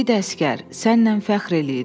İgid əsgər, səninlə fəxr eləyirik.